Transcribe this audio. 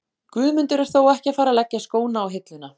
Guðmundur er þó ekki að fara að leggja skóna á hilluna.